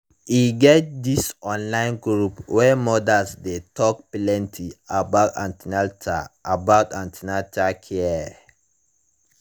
e get this online group wey mothers dey take plenty about an ten atal about an ten atal care